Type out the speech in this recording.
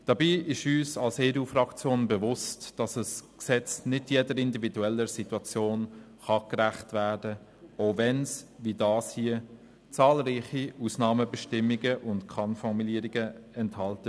Dabei ist uns als EDU-Fraktion bewusst, dass ein Gesetz nicht jeder individuellen Situation gerecht werden kann, auch wenn es, wie dieses hier, zahlreiche Ausnahmebestimmungen und Kann-Formulierungen enthält.